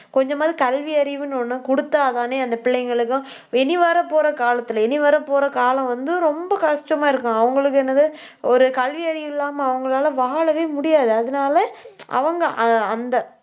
கொஞ்சமாவது கல்வி அறிவுன்னு ஒண்ணு கொடுத்தாதானே, அந்த பிள்ளைங்களுக்கும் இனி வரப்போற காலத்துல இனி வரப்போற காலம் வந்து, ரொம்ப கஷ்டமா இருக்கும். அவங்களுக்கு என்னது ஒரு கல்வியறிவு இல்லாம, அவங்களால வாழவே முடியாது. அதனால அவங்க அ~ அந்த